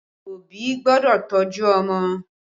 Òbí gbọ́dọ̀ tọ́jú ọmọ